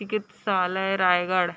चिकित्सालय रायगढ़--